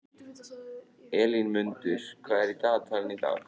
Elínmundur, hvað er í dagatalinu í dag?